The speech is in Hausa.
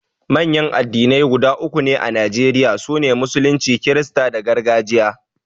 Manyan addinai guda uku ne a Najeriya, su ne, Musulunci, Kirista da Gargajiya.